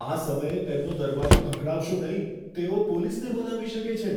આ સમયે તેમનો દરવાજો ખખડાવશો નહીં. તેઓ પોલીસને બોલાવી શકે છે.